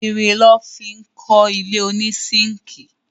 Irin lọ́ fi kọ́ ilé ònísínkìì